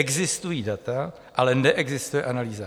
Existují data, ale neexistuje analýza.